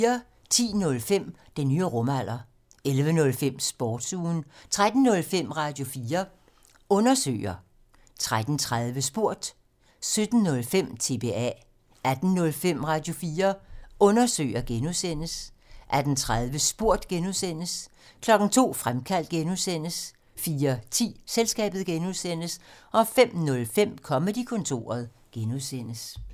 10:05: Den nye rumalder 11:05: Sportsugen 13:05: Radio4 Undersøger 13:30: Spurgt 17:05: TBA 18:05: Radio4 Undersøger (G) 18:30: Spurgt (G) 02:00: Fremkaldt (G) 04:10: Selskabet (G) 05:05: Comedy-kontoret (G)